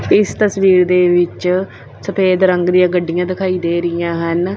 ਇਸ ਤਸਵੀਰ ਦੇ ਵਿੱਚ ਸਫੇਦ ਰੰਗ ਦੀਆਂ ਗੱਡੀਆਂ ਦਿਖਾਈ ਦੇ ਰਹੀਆਂ ਹਨ।